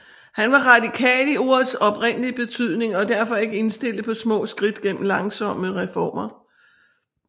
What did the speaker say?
Han var radikal i ordets oprindelige betydning og derfor ikke indstillet på små skridt gennem langsomme reformer